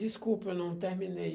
Desculpa, eu não terminei.